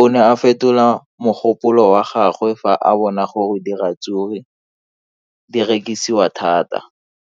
o ne a fetola mogopolo wa gagwe fa a bona gore diratsuru di rekisiwa thata.